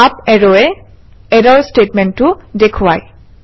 up এৰোৱে ইৰৰ ষ্টেটমেণ্টটো দেখুৱায়